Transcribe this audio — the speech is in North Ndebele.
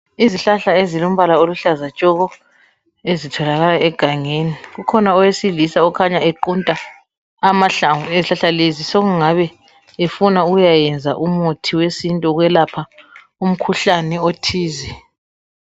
Izihlahla ezilombala oluhlaza tshoko ezitholakala egangeni kukhona owesilisa okhanya equnta amahlamvu ezihlahla lezi sokungabe efuna ukuyakwenza umuthi wesintu wokwelapha umkhuhlane othize